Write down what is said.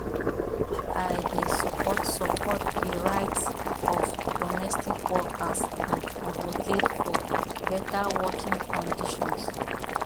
i dey support support di rights of domestic workers and advocate for beta working conditions